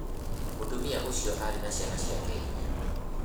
Mũtumia ũcio aarĩ na ciana ciake inya.